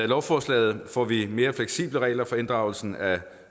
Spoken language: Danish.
lovforslaget får vi mere fleksible regler for inddragelse af